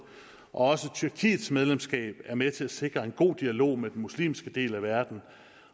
og også tyrkiets medlemskab er med til at sikre en god dialog med den muslimske del af verden